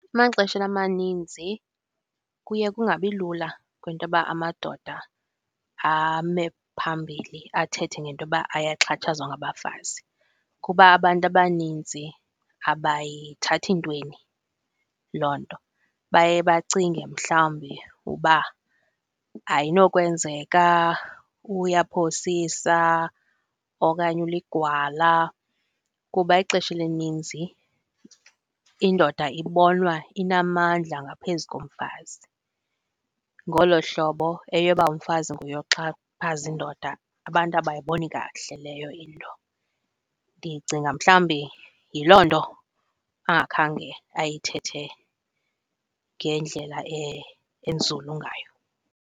Emaxesheni amaninzi kuye kungabilula kwintoba amadoda ame phambili athethe ngentoba ayaxhatshazwa ngabafazi kuba abantu abaninzi abayithathi ntweni loo nto. Baye bacinge mhlawumbi uba ayinokwenzeka, uyaphosisa okanye uligwala kuba ixesha elininzi indoda ibonwa inamandla ngaphezu komfazi, ngolo hlobo eyoba umfazi nguye oxhaphaza indoda abantu abayiboni kakuhle leyo into. Ndicinga mhlawumbi yiloo nto angakhange ayithethe ngendlela enzulu ngayo.